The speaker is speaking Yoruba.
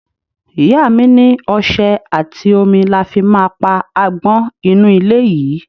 Ìyá mi ní ọṣẹ àti omi la ma fi pa agbon inú ilé yìí.